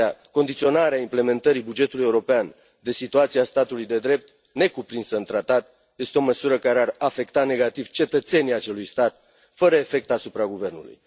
Condiționarea implementării bugetului european de situația statului de drept, necuprinsă în tratat, este o măsură care ar afecta negativ cetățenii acelui stat, fără efect asupra guvernului.